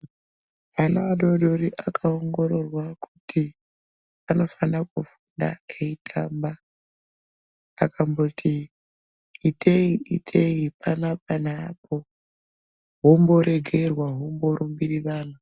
Ana adodori akaongororwa kuti anofana kufunda eitamba akamboti itei itei panapa neapo hwombo regerwa hwombo rumbirirana.